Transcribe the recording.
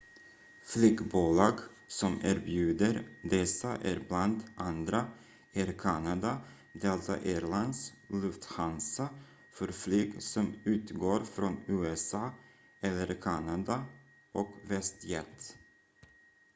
flygbolag som erbjuder dessa är bland andra air canada delta air lines lufthansa för flyg som utgår från usa eller kanada och westjet